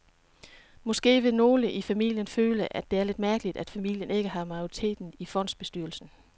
Måske vil nogle i familien føle, at det er lidt mærkeligt, at familien ikke har majoriteten i fondsbestyrelsen.